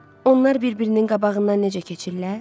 Onlar bir-birinin qabağından necə keçirlər?